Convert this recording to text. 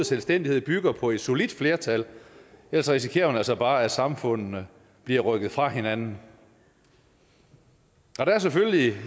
selvstændighed bygger på et solidt flertal ellers risikerer man altså bare at samfundene bliver rykket fra hinanden der er selvfølgelig